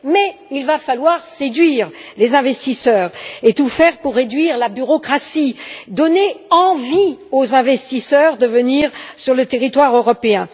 Cependant, il va falloir séduire les investisseurs et tout faire pour réduire la bureaucratie, donner envie aux investisseurs de venir sur le territoire européen.